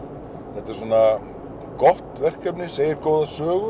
þetta er gott verkefni sem segir góða sögu